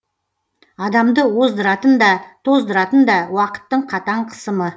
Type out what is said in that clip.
адамды оздыратын да тоздыратын да уақыттың қатаң қысымы